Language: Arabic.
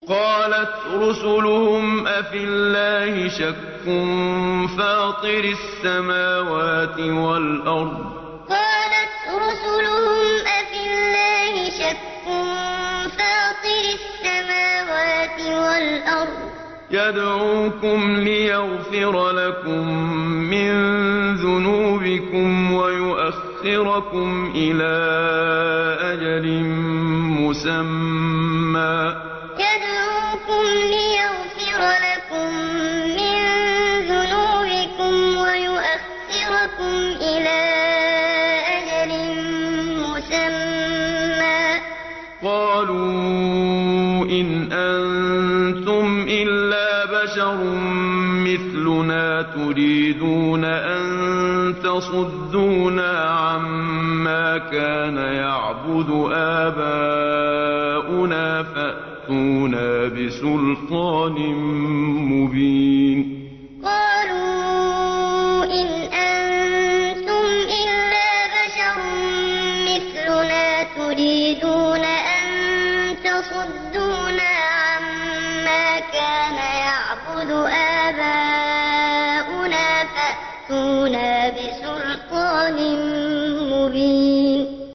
۞ قَالَتْ رُسُلُهُمْ أَفِي اللَّهِ شَكٌّ فَاطِرِ السَّمَاوَاتِ وَالْأَرْضِ ۖ يَدْعُوكُمْ لِيَغْفِرَ لَكُم مِّن ذُنُوبِكُمْ وَيُؤَخِّرَكُمْ إِلَىٰ أَجَلٍ مُّسَمًّى ۚ قَالُوا إِنْ أَنتُمْ إِلَّا بَشَرٌ مِّثْلُنَا تُرِيدُونَ أَن تَصُدُّونَا عَمَّا كَانَ يَعْبُدُ آبَاؤُنَا فَأْتُونَا بِسُلْطَانٍ مُّبِينٍ ۞ قَالَتْ رُسُلُهُمْ أَفِي اللَّهِ شَكٌّ فَاطِرِ السَّمَاوَاتِ وَالْأَرْضِ ۖ يَدْعُوكُمْ لِيَغْفِرَ لَكُم مِّن ذُنُوبِكُمْ وَيُؤَخِّرَكُمْ إِلَىٰ أَجَلٍ مُّسَمًّى ۚ قَالُوا إِنْ أَنتُمْ إِلَّا بَشَرٌ مِّثْلُنَا تُرِيدُونَ أَن تَصُدُّونَا عَمَّا كَانَ يَعْبُدُ آبَاؤُنَا فَأْتُونَا بِسُلْطَانٍ مُّبِينٍ